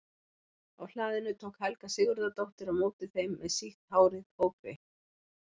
Á hlaðinu tók Helga Sigurðardóttir á móti þeim með sítt hárið ógreitt.